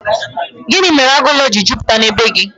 Gịnị mere agụ ụlọ jiri jupụta na bee gị?